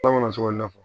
An kana sɔn o na